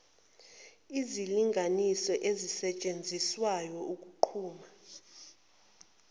izilinganiso ezisetshenziswayo ukunquma